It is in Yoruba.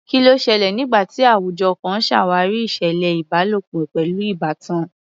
Kí ló ṣẹlẹ̀ nígbà tí àwùjọ kan ṣàwárí ìṣẹ̀lẹ̀ ìbálòpọ̀ pẹ̀lú ìbátan?